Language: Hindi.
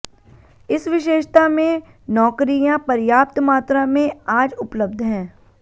इस विशेषता में नौकरियां पर्याप्त मात्रा में आज उपलब्ध हैं